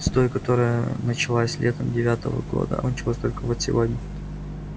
с той которая началась летом девятого года а кончилась только вот сегодня